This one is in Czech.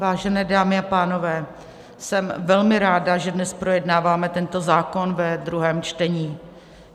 Vážené dámy a pánové, jsem velmi ráda, že dnes projednáváme tento zákon ve druhém čtení.